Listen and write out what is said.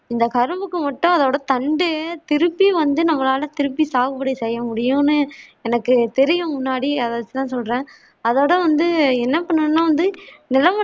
இந்த கரும்புக்கு மட்டும் அதோட தண்டு திருப்பி வந்து நம்மளால திருப்பி சாது பொடி செய்ய முடியும்னு எனக்குத் தெரியும் முன்னாடி அத வெச்சி தான் சொல்றன் அதாவது வந்து என்ன பண்ணனும்னா வந்து